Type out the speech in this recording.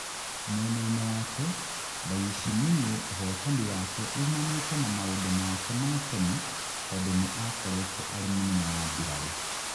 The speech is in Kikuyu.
Mwena-ini wake, Ndayishimiye ũhotani wake umanite na maundu make matenne tondũ ni akoretwo arĩ mũnene wa mbirarũ